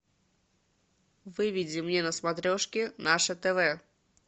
выведи мне на смотрешке наше тв